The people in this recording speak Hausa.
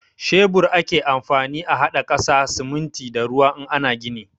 Shebur ake amfani a haɗa ƙasa, siminti da ruwa in ana gini.